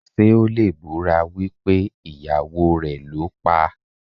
Ṣé o lè búra wípé ìyàwó rẹ̀ ló paá?